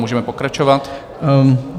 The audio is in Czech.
Můžeme pokračovat.